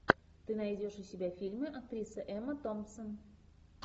ты найдешь у себя фильмы актриса эмма томпсон